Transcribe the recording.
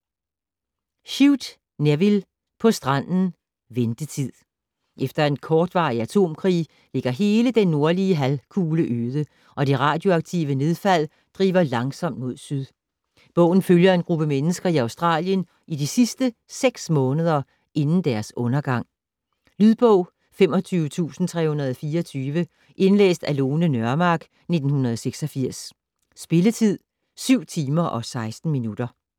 Shute, Nevil: På stranden, Ventetid Efter en kortvarig atomkrig ligger hele den nordlige halvkugle øde, og det radioaktive nedfald driver langsomt mod syd. Bogen følger en gruppe mennesker i Australien i de sidste seks måneder inden deres undergang. Lydbog 25324 Indlæst af Lone Nørmark, 1986. Spilletid: 7 timer, 16 minutter.